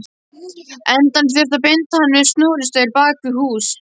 endanum þurfti að binda hann við snúrustaur bak við hús.